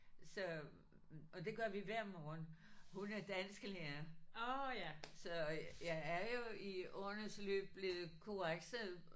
Så og det gør vi hver morgen. Hun er dansklærer så jeg er jo i årenes løb blevet korrekset